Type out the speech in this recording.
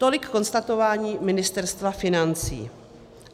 Tolik konstatování Ministerstva financí.